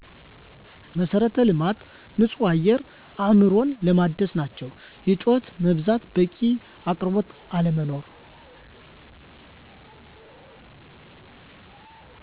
መሠረተ ልማት ንፁህ አየር አእምሮን ለማደስ ናቸው። የጩኸት መብዛት በቂ አቅርቦት አለመኖር